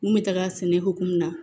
N kun bɛ taga sɛnɛ hokumu na